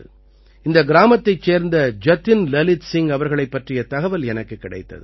இந்த கிராமத்தைச் சேர்ந்த ஜதின் லலித் சிங் அவர்களைப் பற்றிய தகவல் எனக்குக் கிடைத்தது